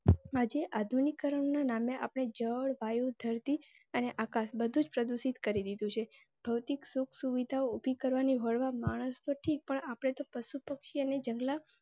આજે આધુનિક ઉપકરણો ના નામે આપડે જળ વાયુ ધરતી અને આકાશ બધું જ પ્રદુષિત કરી દીધું છે. ભૌતિક સુખ સુવિધા ઉભી કરવાની હોડ માં માણસ તો ઠીક પર આપડે તો પશુ પક્ષી ની